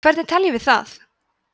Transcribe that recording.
hvernig teljum við það